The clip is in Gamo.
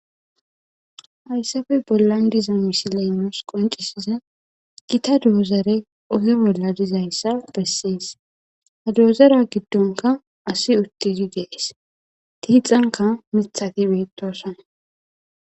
hayssafe bollan diza misileynos qoncisiza gita doozare oge bolla dizayssa bessees ha doozara giddonka asi uttidi dees tiixanka mithati beittosana